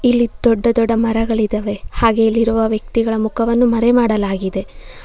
ಇಲ್ಲಿ ದೊಡ್ಡ ದೊಡ್ಡ ಮರಗಳಿದಾವೆ ಹಾಗೆ ಇಲ್ಲಿರುವ ವ್ಯಕ್ತಿಗಳ ಮುಖವನ್ನು ಮರೆಮಾಡಲಾಗಿದೆ.